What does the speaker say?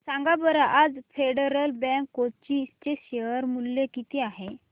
सांगा बरं आज फेडरल बँक कोची चे शेअर चे मूल्य किती आहे